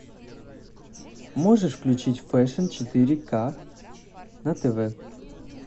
можешь включить фэшн четыре к на тв